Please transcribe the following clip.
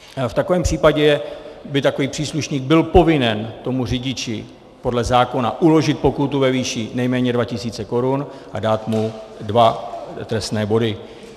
V takovém případě by takový příslušník byl povinen tomu řidiči podle zákona uložit pokutu ve výši nejméně dva tisíce korun a dát mu dva trestné body.